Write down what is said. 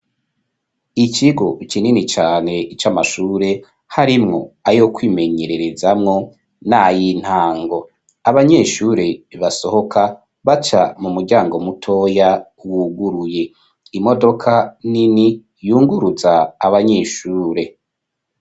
Ikigo kinini cane ic'amashure harimwo ayo kwimenyererezamwo nay'intango. Abanyeshure basohoka baca mu muryango mutoya wuguruye. Imodoka nini yunguruza abanyeshure.